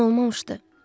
Gələn olmamışdı?